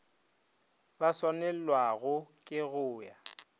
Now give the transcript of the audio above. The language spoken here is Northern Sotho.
ba swanelwago ke go a